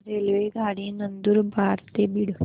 रेल्वेगाडी नंदुरबार ते बीड